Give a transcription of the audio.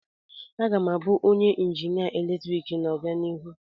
Aga m abụ injinia eletrik n'obianihu.